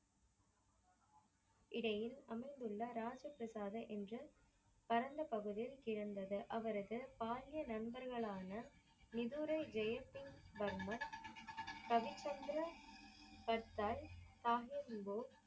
இடையில் அமர்துள்ள ராஜா பிரசாத என்ற பரந்த பகுதியில் கிடந்தது அவரது பாலிய நண்பர்கள் ஆனா மிதூரை ஜெயசிங் வர்மர் பவிச்சந்திரா கட்டார் ஆகியோர்.